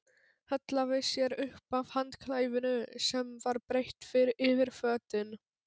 Hallaði sér upp að handklæðinu sem var breitt yfir fötin.